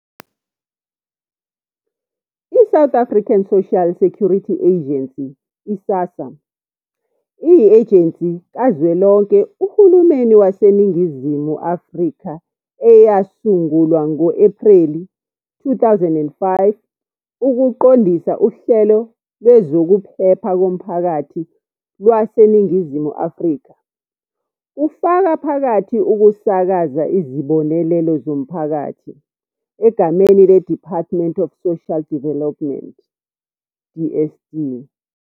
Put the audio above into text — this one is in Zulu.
I-South African Social Security Agency, I-SASSA, iyi-ejensi kazwelonke Uhulumeni waseNingizimu Afrika eyasungulwa ngo-Ephreli 2005 ukuqondisa uhlelo lwezokuphepha komphakathi lwaseNingizimu Afrika, kufaka phakathi ukusakaza Izibonelelo zomphakathi, egameni le-Department of Social Development, DSD,.